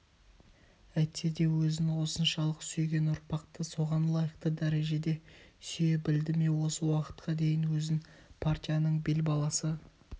әйтседе өзін осыншалық сүйген ұрпақты соған лайықты дәрежеде сүйе білді ме осы уақытқа дейін өзін партияның бел баласы